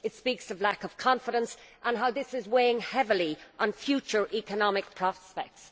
It speaks of a lack of confidence and how this is weighing heavily on future economic prospects.